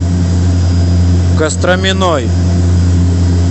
костроминой